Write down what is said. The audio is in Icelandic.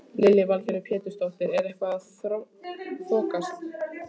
Lillý Valgerður Pétursdóttir: Er þetta eitthvað að þokast?